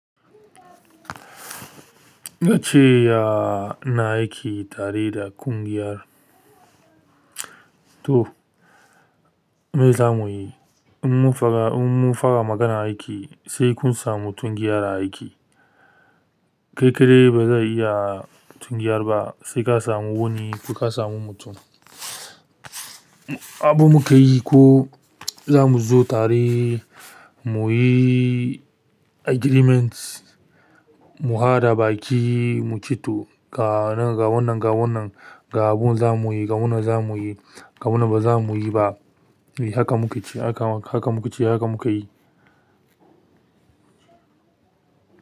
Gaskiya ina aiki tare da ƙungiyar. To, me za mu yi? In mun fara magana aiki sai kun sa mutum gyara aiki. Kai kaɗai ba zai iya tun giyar ba, sai ka samu wani ko ka samu mutum. Abu muka yi ko za mu zo tare muyi agreement, mu haɗa baki mu ci to ga wannan, ga wannan, ga wannan, ga abin za mu yi, ga wannan za mu yi, ga wannan ba za mu yi ba. Haka muka ce, haka muke yi.